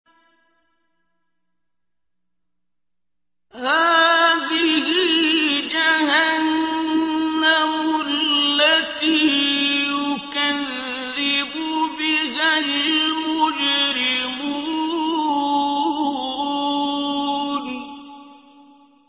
هَٰذِهِ جَهَنَّمُ الَّتِي يُكَذِّبُ بِهَا الْمُجْرِمُونَ